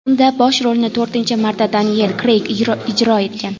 Unda bosh rolni to‘rtinchi marta Deniyel Kreyg ijro etgan.